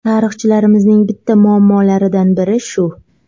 Tarixchilarimizning bitta muammolaridan biri shu.